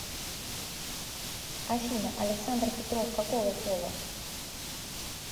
афина александр петров какого пола